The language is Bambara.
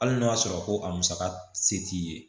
Hali n'o y'a sɔrɔ ko a musaka se t'i ye